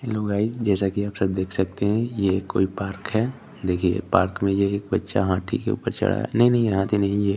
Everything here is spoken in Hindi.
हेलो गाइस जैसा की आप सब देख सकते है ये कोई पार्क है देखिये पार्क में ये एक बच्चा हाथी के ऊपर चढ़ा है नहीं नहीं हाथी नहीं ये --